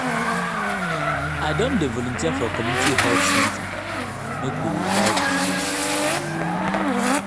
i don dey volunteer for community health center make we revive di place.